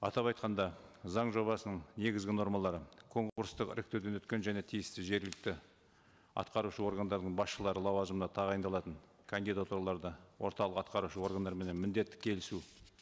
атап айтқанда заң жобасының негізгі нормалары конкурстық іріктеуден өткен және тиісті жергілікті атқарушы органдардың басшылары лауазымына тағайындалатын кандидатураларды орталық атқарушы органдарменен міндетті келісу